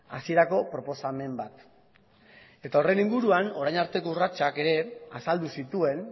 hasierako proposamen bat eta horren inguruan orain arteko urratsak ere azaldu zituen